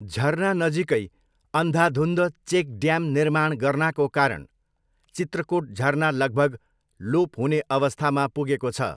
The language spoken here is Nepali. झरना नजिकै अन्धाधुन्ध चेक ड्याम निर्माण गर्नाको कारण चित्रकोट झरना लगभग लोप हुने अवस्थामा पुगेको छ।